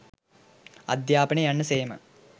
අධ්‍යාපනය යන්න සේම